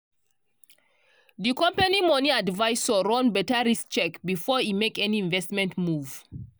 di company money advisor run better risk check before e make any investment move